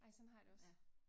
Ej sådan har jeg det også